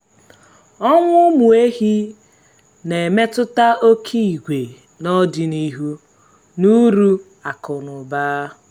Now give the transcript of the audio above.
ọnwụ ụmụ ehi na-emetụta oke ìgwè n’ọdịnihu na uru akụ na ụba.